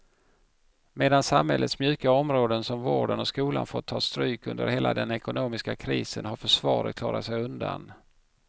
Medan samhällets mjuka områden som vården och skolan fått ta stryk under hela den ekonomiska krisen har försvaret klarat sig undan.